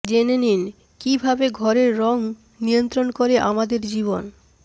জেনে নিন কী ভাবে ঘরের রং নিয়ন্ত্রণ করে আমাদের জীবন